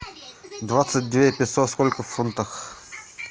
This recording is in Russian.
двадцать две песо сколько в фунтах